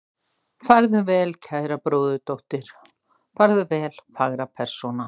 Farðu vel, kæra bróðurdóttir, farðu vel fagra persóna.